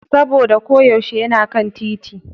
saboda ko yaushe yana kan titi.